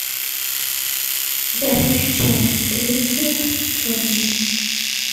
я хочу чай гринфилд черный